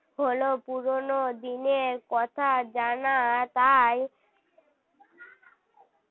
হল পুরনো দিনের কথা জানা তাই